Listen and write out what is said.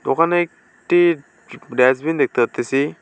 দোকানে একটি ড্যাস্টবিন দেখতে পারতেসি।